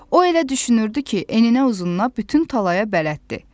O elə düşünürdü ki, eninə uzununa bütün talaya bələddir.